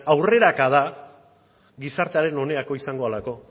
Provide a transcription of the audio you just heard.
aurrerakadak gizartearen onerako izango delako